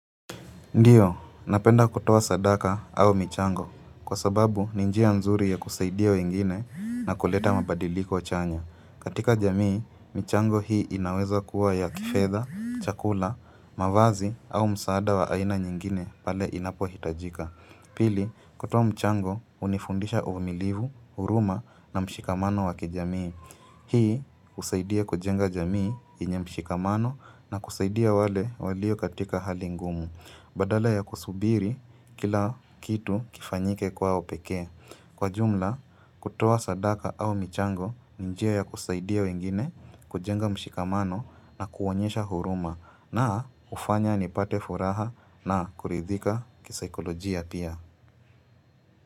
Ndiyo, napenda kutoa sadaka au michango, kwa sababu ni njia nzuri ya kusaidia wengine na kuleta mabadiliko chanya. Katika jamii, michango hii inaweza kuwa ya kifedha, chakula, mavazi au msaada wa aina nyingine pale inapohitajika. Pili, kutoa mchango, unifundisha uvumilivu, huruma na mshikamano wakijamii. Hii, husaidia kujenga jamii yenye mshikamano na kusaidia wale waliokatika hali ngumu. Badala ya kusubiri kila kitu kifanyike kwao pekee. Kwa jumla, kutoa sadaka au michango ni njia ya kusaidia wengine, kujenga mshikamano na kuonyesha huruma na hufanya nipate furaha na kuridhika kisaikolojia pia.